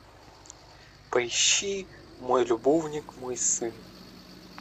поищи мой любовник мой сын